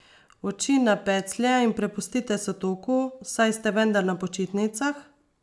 Oči na peclje in prepustite se toku, saj ste vendar na počitnicah!